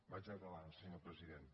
vaig acabant senyor president